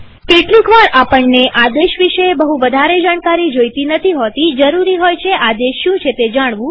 કેટલીકવાર આપણને આદેશ વિશે બહું વધારે જાણકારી નથી જોઈતી હોતીજરૂરી હોય છે આદેશ શું છે જાણવું